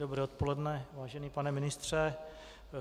Dobré odpoledne, vážený pane ministře.